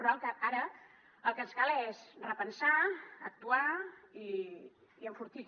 però ara el que ens cal és repensar actuar i enfortir